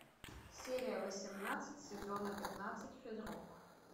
серия восемнадцать сезона пятнадцать физрук